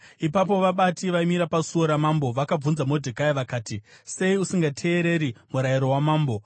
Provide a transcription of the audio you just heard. Ipapo vabati vaimira pasuo ramambo vakabvunza Modhekai vakati, “Sei usingateereri murayiro wamambo?”